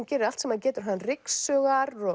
gerir allt sem hann getur hann ryksugar